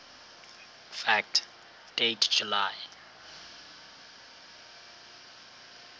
fact date july